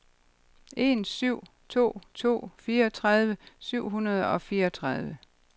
en syv to to fireogtredive syv hundrede og fireogtredive